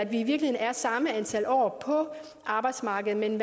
virkeligheden er samme antal år på arbejdsmarkedet men